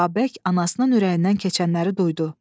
Babək anasının ürəyindən keçənləri duydu.